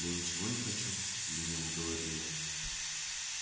да ничего не хочу лениво говорю я